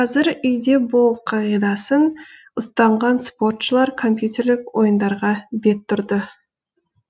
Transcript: қазір үйде бол қағидасын ұстанған спортшылар компьютерлік ойындарға бет тұрды